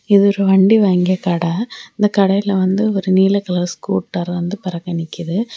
இது ஒரு வண்டி வாங்கிய கடை இந்த கடைல வந்துட்டு ஒரு நீல கலர் ஸ்கூட்டர் வந்து பெறக்க நிக்குது.